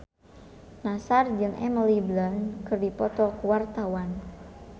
Nassar jeung Emily Blunt keur dipoto ku wartawan